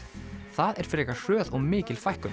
það er frekar hröð og mikil fækkun